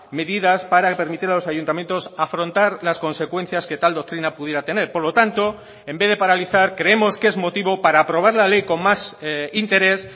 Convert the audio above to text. medidas para permitir a los ayuntamientos afrontar las consecuencias que tal doctrina pudiera tener por lo tanto en vez de paralizar creemos que es motivo para aprobar la ley con más interés